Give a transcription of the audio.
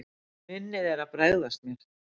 Minnið er að bregðast mér.